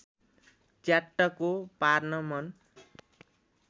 च्याट्टको पार्न मन